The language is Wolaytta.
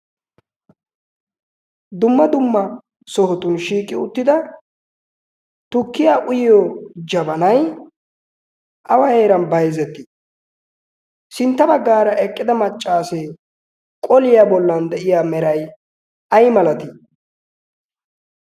dumma dumma sohotun shiiqi uttida tukkiya uyiyo jabanay awa heeran baizzettii? sintta baggaara eqqida maccaasee qoliyaa bollan de'iya meray ay malatii?